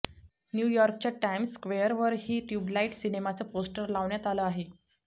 न्यूयॉर्कच्या Times स्क्वेअरवरही ट्युबलाईट सिनेमाचं poster लावण्यात आलं आहे